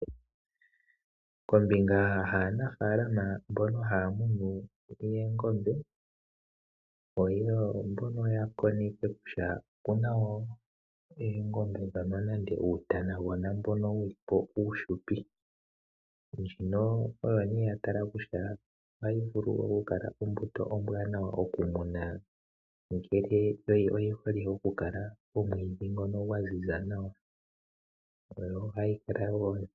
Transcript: Kombinga yaanafaalama mbono haya munu oongombe oya koneke kutya oku na oongombe nenge uutana mboka uufupi. Ndjino oyo ya tali ka ko kutya ombuto ombwanawa okumunwa, oshoka oyi hole pomwiidhi gwa ziza nawa.